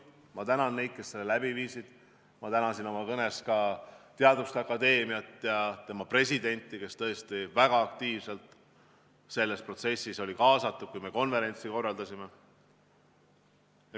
Ma tänan neid, kes seda tegid, ma tänasin oma kõnes ka Teaduste Akadeemiat ja tema presidenti, kes olid tõesti väga aktiivselt sellesse protsessi kaasatud, kui me konverentsi korraldasime.